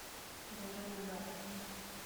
баранагар